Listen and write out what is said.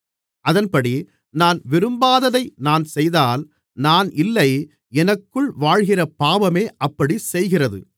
அதன்படி நான் விரும்பாததை நான் செய்தால் நான் இல்லை எனக்குள் வாழ்கிற பாவமே அப்படிச் செய்கிறது